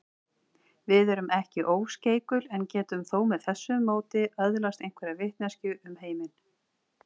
Við erum ekki óskeikul en getum þó með þessu móti öðlast einhverja vitneskju um heiminn.